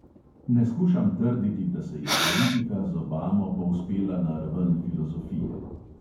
Ne skušam trditi, da se je politika z obamo povzpela na raven filozofije.